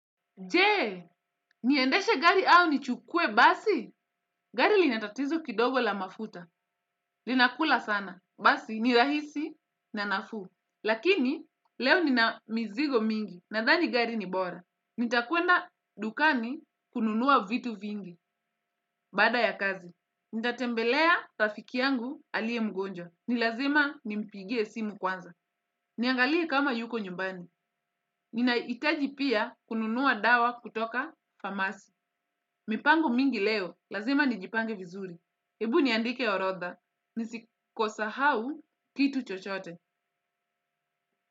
Je, niendeshe gari au nichukue basi. Gari linatatizo kidogo la mafuta. Linakula sana. Basi, nirahisi na nafuu. Lakini, leo nina mizigo mingi. Nadhani gari ni bora. Nitakwenda dukani kununua vitu vingi. Bada ya kazi. Nitatembelea rafiki yangu aliye mgonjwa. Ni lazima nimpigie simu kwanza. Niangalie kama yuko nyumbani. Ninahitaji pia kununua dawa kutoka famasi. Mipango mingi leo. Lazima nijipange vizuri. Hebu niandike orotha. Nisisahau kitu chochote.